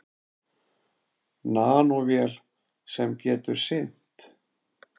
Nanóvél sem getur synt.